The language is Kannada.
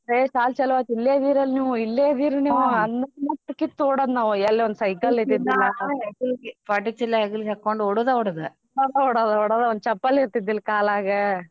ಏ ಸಾಲಿ ಚಲು ಆತ್ ಇಲ್ಲೇ ಇದೀರ್ ನಿವೂ ಅನ್ನತ್ಲೆ ಮುಟ್ ಕಿತ್ ಓಡೋದ್ ನಾವು ಎಲ್ ಒಂದ್ cycle ಇದ್ದಿದ್ದಿಲ್ಲಾ ಪಾಟಿ ಚೀಲ ಹಾಕ್ಕೊಂಡ್ ಓಡೋದ ಓಡೋದ ಓಡೋದ ಓಡೋದ ಒಂದ್ ಚಪ್ಪಲ್ ಇರ್ತಿದಿಲ್ ಕಾಲಾಗ .